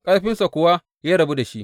Ƙarfinsa kuwa ya rabu da shi.